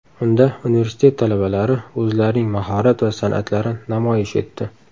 Unda universitet talabalari o‘zlarining mahorat va san’atlarini namoyish etdi.